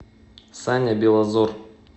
саня белозор